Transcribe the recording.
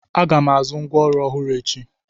Aga m azụ ngwa ọrụ ọhụrụ echi.